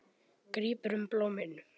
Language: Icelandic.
Grípur um blómin.